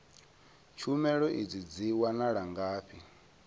tshumelo idzi dzi wanala ngafhi